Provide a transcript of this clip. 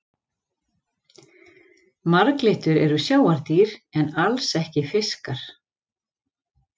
Marglyttur eru sjávardýr en alls ekki fiskar.